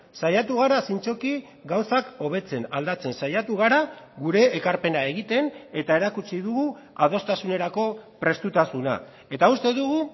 saiatu gara zintzoki gauzak hobetzen aldatzen saiatu gara gure ekarpena egiten eta erakutsi dugu adostasunerako prestutasuna eta uste dugu